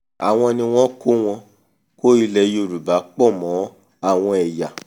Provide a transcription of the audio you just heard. àwọn ni wọ́n kó wọ́n kó ilẹ̀ yorùbá pọ̀ mọ́ àwọn ẹ̀yà